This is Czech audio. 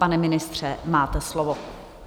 Pane ministře, máte slovo.